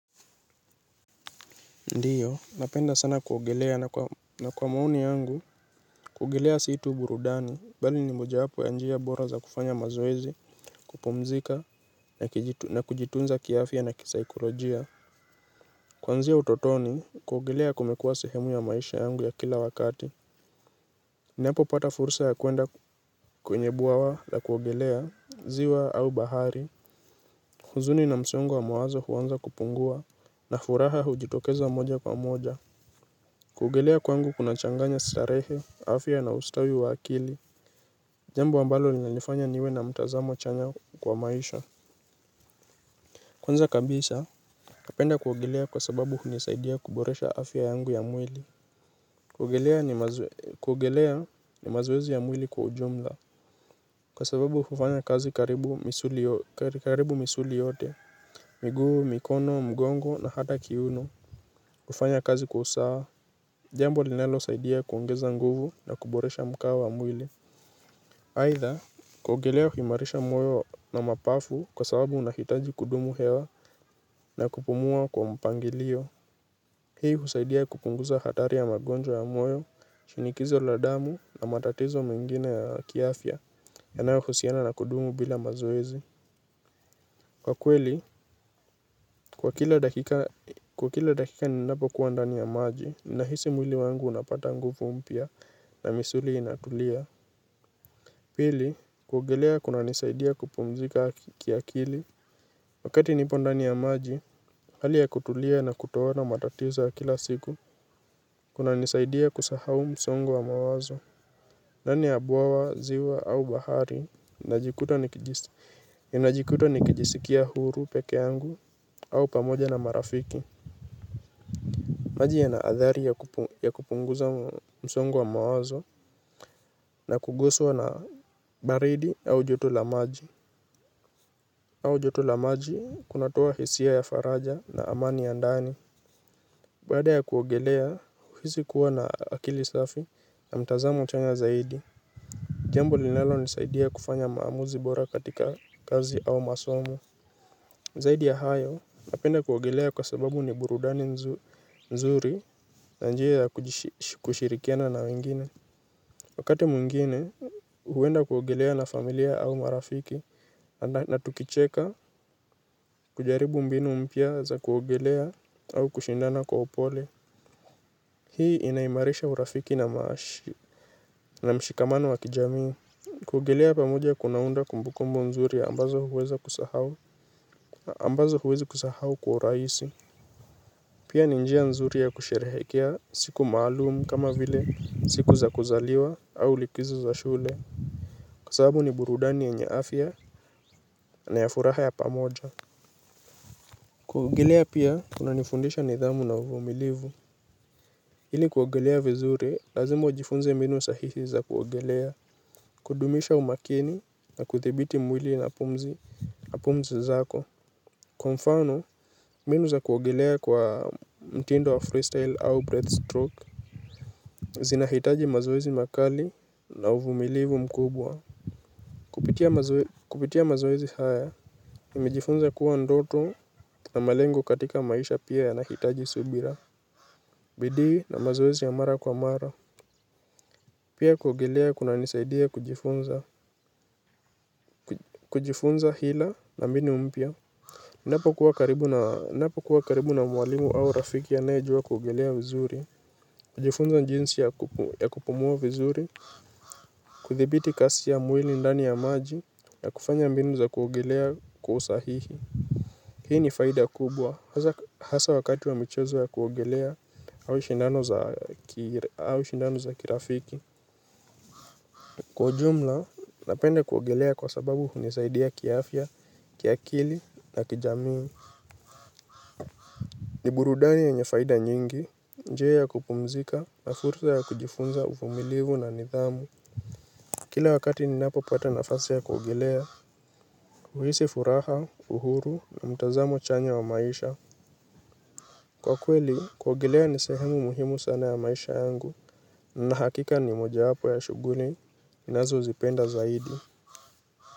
Ndiyo, napenda sana kuogelea na kwa maoni yangu, kuogelea si tu burudani, bali ni mojawapo ya njia bora za kufanya mazoezi, kupumzika, na kujitunza kiafya na kisaikolojia. Kuanzia utotoni, kuogelea kumekua sehemu ya maisha yangu ya kila wakati, ninapopata fursa ya kwenda kwenye bwawa la kuogelea, ziwa au bahari huzuni na msongo wa mawazo huanza kupungua, na furaha hujitokeza moja kwa moja. Kuogelea kwangu kunachanganya starehe, afya na ustawi wa akili. Jambo ambalo linanifanya niwe na mtazamo chanya kwa maisha. Kwanza kabisa napenda kuogelea kwa sababu hunisaidia kuboresha afya yangu ya mwili, kuogelea ni mazo ni mazoezi ya mwili kwa ujumla. Kwa sababu hufanya kazi karibu misuli yote. Miguu, mikono, mgongo na hata kiuno kufanya kazi kwa usawa jambo linalo saidia kuongeza nguvu na kuboresha mkao wa mwili aidha, kuogelea huimarisha moyo na mapafu kwa sababu unahitaji kudumu hewa na kupumua kwa mpangilio. Hii husaidia kupunguza hatari ya magonjwa ya moyo, shinikizo la damu na matatizo mengine ya kiafya yanayohusiana na kudumu bila mazoezi. Kwa kweli, kwa kila dakika ninapokua ndani ya maji, nahisi mwili wangu unapata nguvu mpya na misuli inatulia. Pili kuogelea kunanisaidia kupumzika kiakili. Wakati nipo ndani ya maji hali ya kutulia na kutoona matatizo ya kila siku. Kunanisaidia kusahau msongo wa mawazo. Ndani ya bwawa, ziwa au bahari najikuta nikijisikia huru peke angu au pamoja na marafiki maji yana adhari ya kupunguza msongo wa mawazo na kuguswa na baridi au joto la maji au joto la maji, kunatoa hisia ya faraja na amani ya ndani. Baada ya kuogelea, huhisi kuwa na akili safi na mtazamo chanya zaidi. Jambo linalonisaidia kufanya maamuzi bora katika kazi au masomo. Zaidi ya hayo, napenda kuogelea kwa sababu ni burudani nzuri na njia ya kushirikiana na wengine. Wakati mwingine, huenda kuogelea na familia au marafiki. Na tukicheka kujaribu mbinu mpya za kuogelea au kushindana kwa upole. Hii inaimarisha urafiki na maashi na mshikamano wa kijamii, kuogelea pamoja kunaunda kumbukumbu nzuri ambazo huweza kusahau ambazo huwezi kusahau kwa urahisi. Pia ni njia nzuri ya kusherehekea siku maalumu kama vile siku za kuzaliwa au likizo za shule, kwa sababu ni burudani yenye afya na ya furaha ya pamoja. Kuogelea pia kunanifundisha nidhamu na uvumilivu ili kuogelea vizuri lazima ujifunze mbinu sahihi za kuogelea, kudumisha umakini na kudhibiti mwili na pumzi zako, kwa mfano mbinu za kuogelea kwa mtindo wa freestyle au breath stroke. Zinahitaji mazoezi makali na uvumilivu mkubwa. Kupitia mazoezi haya nimejifunza kuwa ndoto na malengo katika maisha pia yanahitaji subira. Bidii na mazoezi ya mara kwa mara. Pia kuogelea kunanisaidia kujifunza hila na mbinu mpya. Ninapokuwa karibu na mwalimu au rafiki anaejua kuogelea vizuri kujifunza jinsi ya kupumua vizuri kudhibiti kasi ya mwili ndani ya maji na kufanya mbinu za kuogelea kwa usahihi, hii ni faida kubwa hasa wakati wa michezo ya kuogelea au shindano za kirafiki kwa ujumla, napenda kuogelea kwa sababu hunisaidia kiafya, kiakili na kijamii. Ni burudani yenye faida nyingi, nje ya kupumzika na fursa ya kujifunza uvumilivu na nidhamu. Kila wakati ninapo pata nafasi ya kuogelea, huhisi furaha, uhuru na mtazamo chanya wa maisha. Kwa kweli, kuogelea nisehemu muhimu sana ya maisha yangu, na hakika ni moja wapo ya shughuli, ninazozipenda zaidi.